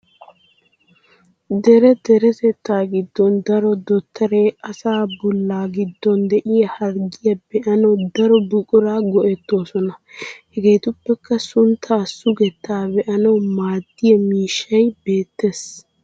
Dere deretettaa giddon daro dottoree asaa bolla giddon de'iyaa harggiyaa be'anawu daro buquraa go'ettoosona. Hegeetuppekka sunttaa sugettaa be'anawu maaddiya miishshay beettes.